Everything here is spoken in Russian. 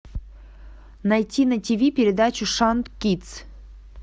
найти на тиви передачу шант кидс